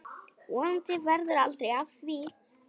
Vonandi verður aldrei af því.